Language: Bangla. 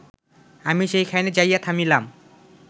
আমি সেইখানে যাইয়া থামিলাম